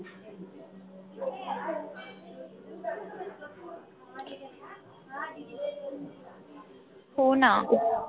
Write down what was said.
होना.